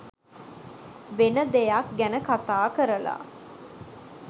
වෙන දෙයක් ගැන කතා කරලා